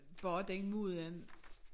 Bare den måde